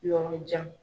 Yɔrɔ jan